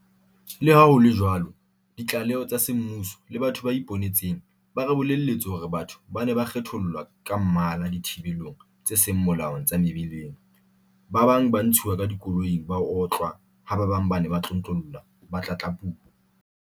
Leha ho le jwalo ditlaleho tsa semmuso le batho ba ipone tseng ba re bolelletse hore batho ba ne ba kgethollwa ka mmala dithibelong tse seng molaong tsa mebileng, ba bang ba ntshuwa ka dikoloing ba otlwa ha ba bang ba ne ba tlontlollwa ba tlatlapuwa.